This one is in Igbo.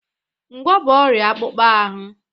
Ngwá bụ ọrịa akpụkpọ ahụ.